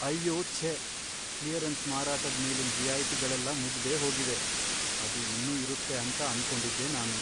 ಅಯ್ಯೋ ಛೇ! ಕ್ಲಿಯರೆನ್ಸ್ ಮಾರಾಟದ್ ಮೇಲಿನ್ ರಿಯಾಯಿತಿಗಳೆಲ್ಲ ಮುಗ್ದೇಹೋಗಿವೆ, ಅದು ಇನ್ನು ಇರುತ್ತೆ ಅಂತ ಅನ್ಕೊಂಡಿದ್ದೆ ನಾನು.